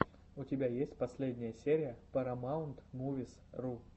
у тебя есть последняя серия парамаунтмувисру